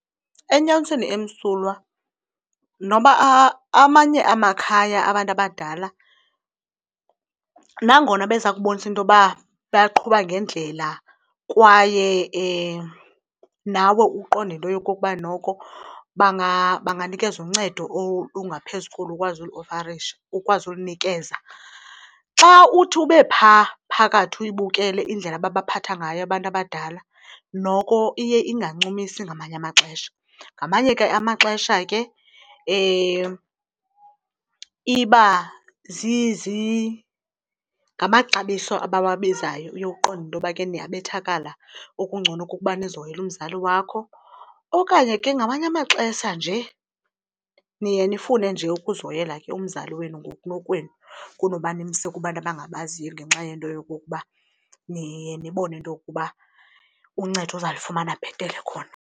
Enyanisweni emsulwa noba amanye amakhaya abantu abadala nangona beza kubonisa into yoba baqhuba ngendlela kwaye nawe uqonda into yokokuba noko banganikeza uncedo olungaphezu kolu ukwazi uliofarisha ukwazi ulinikeza, xa uthi ube phaa phakathi uyibukele indlela ababaphatha ngayo abantu abadala noko iye ingancumisi ngamanye amaxesha. Ngamanye ke amaxesha ke iba ngamaxabiso abawabizayo uye uqonde intoba niyabethakala okungcono kukuba nizihoyele umzali wakho, okanye ke ngamanye amaxesha nje niye nifune nje ukuzihoyela umzali wenu ngokunokwenu kunoba nimse kubantu abangabaziyo ngenxa yento yokokuba niye nibone into yokuba uncedo uzawulifumana bhetele khona.